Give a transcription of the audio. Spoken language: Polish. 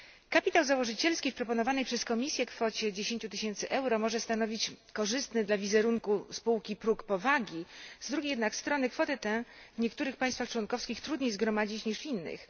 Kapitał założycielski przy proponowanej przez Komisję kwocie 10 tysięcy euro może stanowić korzystny dla wizerunku spółki próg powagi, z drugiej jednak strony kwotę tę w niektórych państwach członkowskich trudniej jest zgromadzić niż w innych.